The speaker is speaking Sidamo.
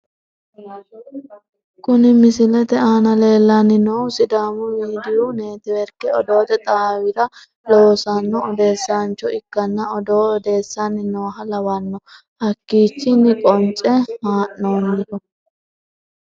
Kuni misilete aana lellanni noohu sidaamu midiiyu neetiworke odoote xaawira loosanno odeessancho ikkanna, odoo odeessanni nooha lawanno hakkiichinni qonce haa'noonniho.